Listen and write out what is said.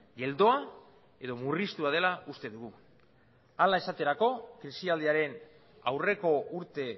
geldoa edo murriztua dela uste dugu hala esaterako krisialdiaren aurreko urte